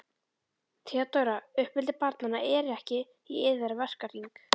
THEODÓRA: Uppeldi barnanna er ekki í yðar verkahring.